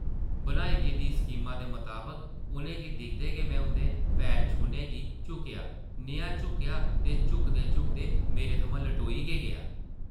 बनाई गेदी स्कीमा दे मताबक उʼनें गी दिखदे गै में उंʼदे पैर छूह्ने गी झुकेआ, नेहा झुकेआ जे झुकदे-झुकदे मेरे थमां लटोई गै गेआ ।